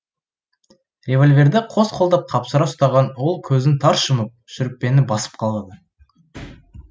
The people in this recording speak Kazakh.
револьверді қос қолдап қапсыра ұстаған ол көзін тарс жұмып шүріппені басып қалады